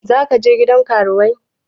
Za ka je gidan karuwai?